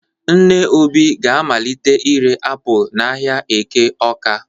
Nne Obi ga-amalite ire apụl n'ahịa Eke Ọ́ká.